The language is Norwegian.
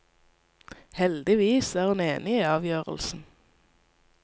Heldigvis er hun enig i avgjørelsen.